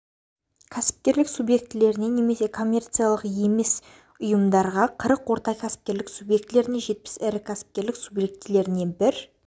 кәсіпкерлік субъектілеріне немесе коммерциялық емес ұйымдарға қырық орта кәсіпкерлік субъектілеріне жетпіс ірі кәсіпкерлік субъектілеріне бір